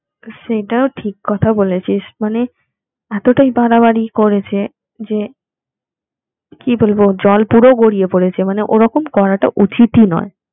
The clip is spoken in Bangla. সেটাও ঠিক কথা বলেছিস মানে এতটাই বাড়াবাড়ি করেছে যে কি বলবো জল পুরো গড়িয়ে পড়েছে মানে ওরকম করাটা উচিতই নয়